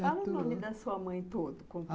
Fala o nome da sua mãe todo.